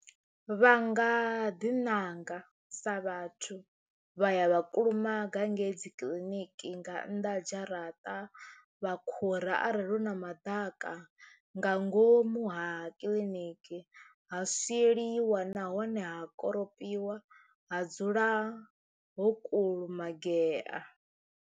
Vha nga ḓi nanga sa vhathu vha ya vha kulumaga ngei dzikiḽiniki nga nnḓa ha dzharaṱa vha khura arali hu na maḓaka ka nga ngomu ha kiḽiniki ha swieliwa nahone ha koropiwa ha dzula ho kulumagea.